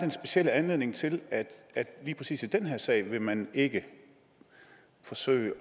specielle anledning til at lige præcis i den her sag vil man ikke forsøge